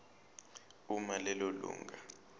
uma lelo lunga